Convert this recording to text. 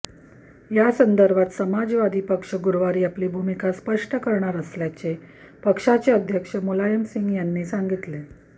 यासंदर्भात समाजवादी पक्ष गुरुवारी आपली भूमीका स्पष्ट करणार असल्याचे पक्षाचे अध्यक्ष मुलायम सिंग यांनी सांगितले